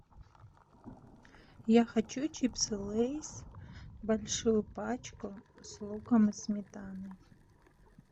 я хочу чипсы лейс большую пачку с луком и сметаной